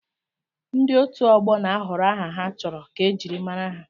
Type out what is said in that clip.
Ndị otu ọgbọ na-ahọrọ aha ha chọrọ ka ejiri mara ha.